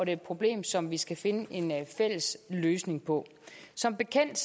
er et problem som vi skal finde en fælles løsning på som bekendt